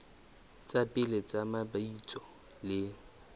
tsa pele tsa mabitso le